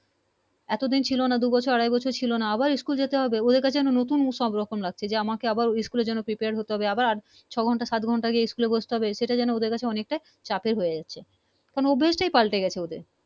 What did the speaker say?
এতো দিন ছিলো না দু বছর আড়াই বছর ছিলো না আবার School যেতে হবে ওদের কাছে নতুন সব কিছু সব রকম লাগছে যে আমাকে আবার ওই School এর জন্য Prepare হতে হবে আবার ছো ঘন্টা সাট ঘন্টা School বসতে হবে সেটা যেনো চাপের হয়ে চাচ্ছে অভ্যাস পালটিয়ে গেছে